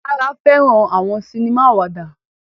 Lara fẹràn àwọn sinima àwàdà